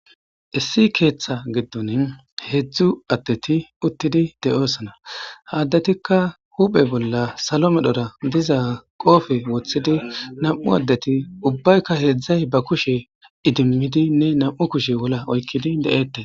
issi keeththa giddon heedzdzu addeti uttidi de7osana ha addetikka huphe bolla salo medhora diza qoofe woththidi nam7u addeti ubbaykka heedzdzay ba kushe idimmidinne nam7u kushe wolla oykkidi de7eette